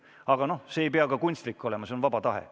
Aga noh, see ei pea ka kunstlik olema, see on vaba tahe.